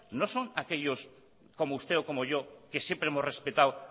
no son aquellos como usted o como yo que siempre hemos respetado